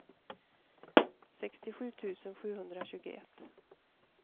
sextiosju tusen sjuhundratjugoett